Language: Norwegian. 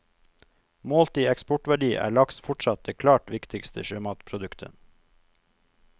Målt i eksportverdi er laks fortsatt det klart viktigste sjømatproduktet.